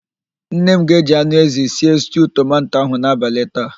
Nne m ga-eji anụ ézì sie stuu tomanto ahụ n'abalị taa.